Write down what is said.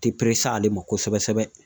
Te ale ma kosɛbɛ sɛbɛ